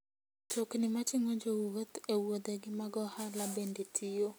Mtokni mating'o jowuoth e wuodhegi mag ohala bende tiyo.